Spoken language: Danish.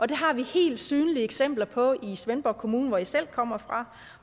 det har vi helt synlige eksempler på i svendborg kommune hvor jeg selv kommer fra